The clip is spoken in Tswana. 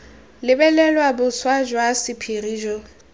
lebelelwa boswa jwa sephiri jo